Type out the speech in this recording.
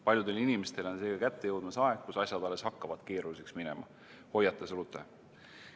Paljudele inimestele on seega kätte jõudmas aeg, kus asjad alles hakkavad keeruliseks minema, hoiatas Rute.